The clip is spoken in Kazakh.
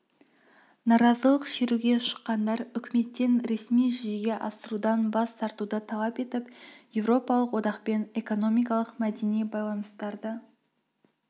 наразылық шеруге шыққандар үкіметтен ресми жүзеге асырудан бас тартуды талап етіп еуропалық одақпен экономикалық мәдени байланыстарды